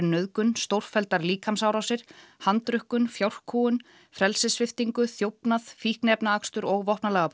nauðgun stórfelldar líkamsárásir fjárkúgun frelsissviptingu þjófnað fíkniefnaakstur og